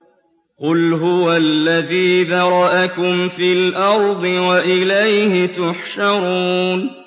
قُلْ هُوَ الَّذِي ذَرَأَكُمْ فِي الْأَرْضِ وَإِلَيْهِ تُحْشَرُونَ